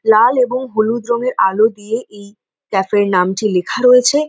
লাল এবং হলুদ রঙের আলো দিয়ে এই ক্যাফে - এর নামটি লিখা রয়েছে।